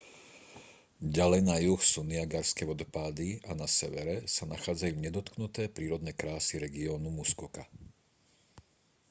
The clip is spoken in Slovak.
ďalej na juh sú niagarské vodopády a na severe sa nachádzajú nedotknuté prírodné krásy regiónu muskoka